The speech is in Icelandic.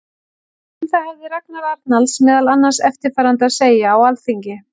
Um það hafði Ragnar Arnalds meðal annars eftirfarandi að segja á Alþingi